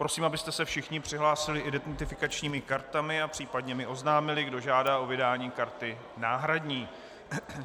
Prosím, abyste se všichni přihlásili identifikačními kartami a případně mi oznámili, kdo žádá o vydání karty náhradní.